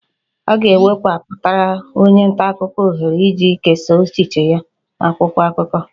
A ga-ekewapụtara onye nta akụkọ ohere iji kesaa echiche ya n'akwụkwọ akụkọ